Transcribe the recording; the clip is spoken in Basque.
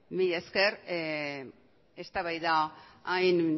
mila esker eztabaida hain